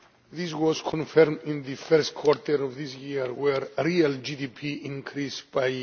This was confirmed in the first quarter of this year, where real GDP increased by